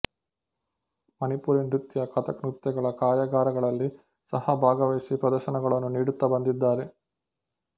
ಮಣಿಪುರಿ ನೃತ್ಯ ಕಥಕ್ ನೃತ್ಯಗಳ ಕಾರ್ಯಾಗಾರಗಳಲ್ಲಿ ಸಹಾ ಭಾಗವಹಿಸಿ ಪ್ರದರ್ಶನಗಳನ್ನು ನೀಡುತ್ತಾ ಬಂದಿದ್ದಾರೆ